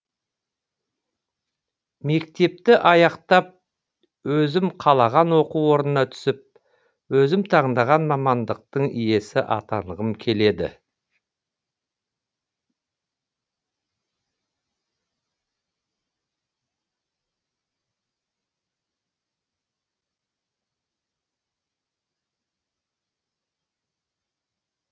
мектепті аяқтап өзім қалаған оқу орнына түсіп өзім таңдаған мамандықтың иесі атанғым келеді